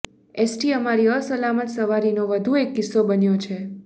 ST અમારી અસલામત સવારીનો વધુ એક કિસ્સો બન્યો છે